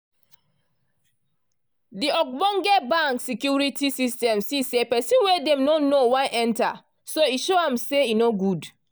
de ogbonge bank security system see say person wey dem no know wan enter so e show am say e no good.